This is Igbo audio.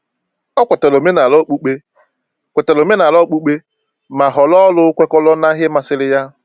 O kwetara omenala okpukpe, kwetara omenala okpukpe, ma họrọ ọrụ kwekọrọ na ihe masịrị ya.